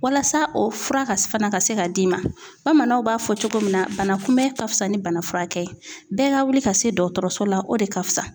Walasa o fura ka fana ka se ka d'i ma bamananw b'a fɔ cogo min na bana kunbɛ ka fisa ni bana furakɛ ye bɛɛ ka wuli ka se dɔgɔtɔrɔso la o de ka fisa